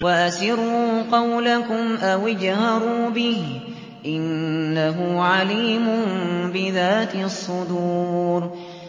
وَأَسِرُّوا قَوْلَكُمْ أَوِ اجْهَرُوا بِهِ ۖ إِنَّهُ عَلِيمٌ بِذَاتِ الصُّدُورِ